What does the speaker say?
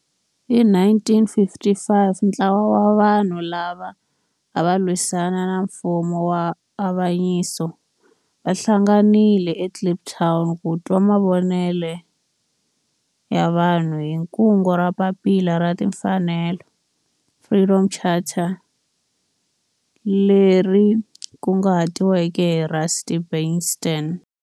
Hi 1955 ntlawa wa vanhu lava ava lwisana na nfumo wa avanyiso va hlanganile eKliptown ku twa mavonelo ya vanhu hi kungu ra Papila ra Tinfanelo, Freedom Charter leri kunguhatiweke hi Rusty Bernstein.